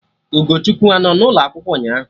Ugochukwu anọ n'ụlọ akwụkwọ ụnyaahụ?